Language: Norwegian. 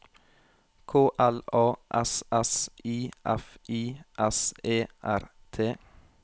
K L A S S I F I S E R T